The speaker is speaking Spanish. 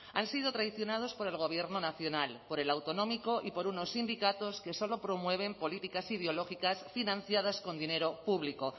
han sido traicionados por el gobierno nacional por el autonómico y por unos sindicatos que solo promueven políticas ideológicas financiadas con dinero público